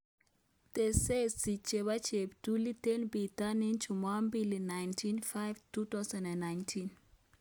Tesesi chebo cheptulit eng bitonin chumabili 19.05.2019